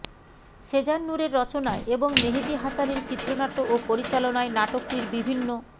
সেজান নূরের রচনায় এবং মেহেদী হাসানের চিত্রনাট্য ও পরিচালনায় নাটকটির বিভিন্ন